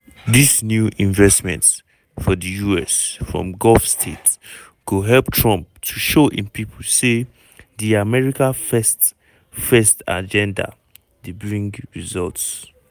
dis new investments for di us from gulf states go help trump to show im pipo say di "america first" first" agenda dey bring results.